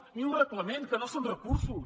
ni un reglament que no són recursos